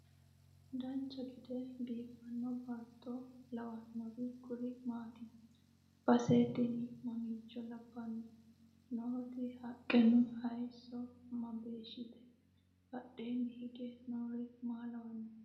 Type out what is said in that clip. dancha gede biiffanno baatto lawannori kuri maati? base tini mamiicho labbanno? nooti haqqenna hayeesso mageeshshite? badheenni hige noori maa lawannoho?